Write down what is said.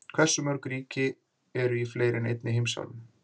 hversu mörg ríki eru í fleiri en einni heimsálfu